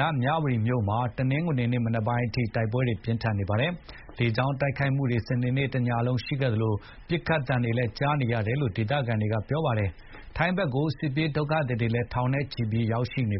ယ်မြဝတီမြို့မှာ တနင်္ဂနွေနေ့ မနက်ပိုင်းအထိ တိုက်ပွဲတွေပြင်းထန်နေပါတယ်။ လေကြောင်းတိုက်ခိုက်မူတွေ စနေတနေ့လုံးရှိသလို ညပိုင်းမှာလည်း ပစ်ခတ်သံတွေကြားနေရပါတယ် ။ ထိုင်းဘက်ကို စစ်ဘေးရှောင်သူတွေ ထောင်နဲ့ချီပြီးရောက်နေ